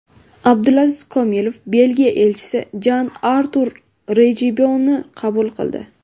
Abdulaziz Komilov Belgiya elchisi Jan-Artur Rejiboni qabul qildi.